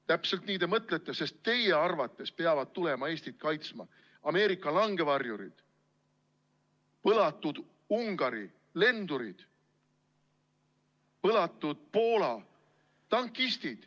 Täpselt nii te mõtlete, sest teie arvates peavad tulema Eestit kaitsma Ameerika langevarjurid, põlatud Ungari lendurid, põlatud Poola tankistid.